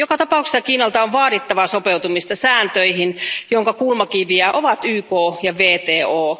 Joka tapauksessa Kiinalta on vaadittava sopeutumista sääntöihin, joiden kulmakiviä ovat YK ja WTO.